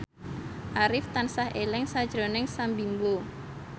Arif tansah eling sakjroning Sam Bimbo